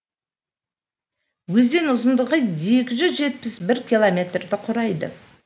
өзен ұзындығы екі жүз жетпіс бір километрді құрайды